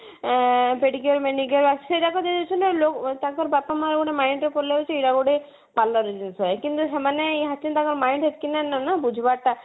ତ pedicure manicure ସେଇଗୁଡାକ ଦେଇ ଦଉଛନ୍ତି ତାଙ୍କ ବାପା ମାଙ୍କର mind ରେ ପଳେଇ ଆଉଛି ଏଇଗୁଡା ଗୋଟେ ଜିନିଷ କିନ୍ତୁ ସେମାନେ actually ତାଙ୍କ mind ରେ ଏତିକି ନାଇଁ ନା ବୁଝିବାର ଟା